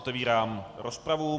Otevírám rozpravu.